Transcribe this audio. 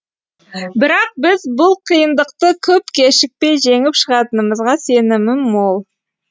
бірақ біз бұл қиындықты көп кешікпей жеңіп шығатынымызға сенімім мол